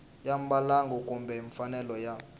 ya mbalango kumbe mfanelo ya